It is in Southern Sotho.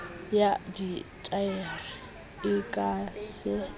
ya dithaere e ka se